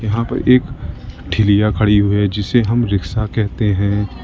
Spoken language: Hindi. यहां पर एक ठेलीया खड़ी हुई है जिसे हम रिक्शा कहते हैं।